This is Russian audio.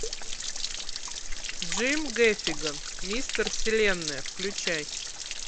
джим гэффиган мистер вселенная включай